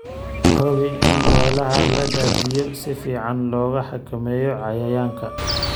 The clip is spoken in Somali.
Hubi in meelaha la daadiyo si fiican looga xakameeyo cayayaanka.